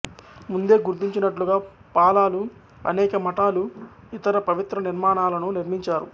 ముందే గుర్తించినట్లుగా పాలాలు అనేక మఠాలు ఇతర పవిత్ర నిర్మాణాలను నిర్మించారు